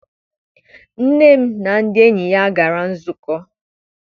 Nne m na ndị enyi ya gara nzukọ.